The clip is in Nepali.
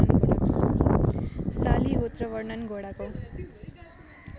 शालिहोत्र वर्णन घोडाको